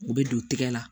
U bɛ don tɛgɛ la